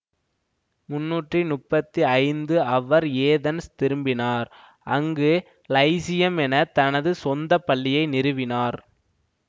முண்ணூற்றி முப்பத்தி ஐந்து அவர் ஏதென்ஸ் திரும்பினார் அங்கு லைசியம் என தனது சொந்த பள்ளியை நிறுவினார்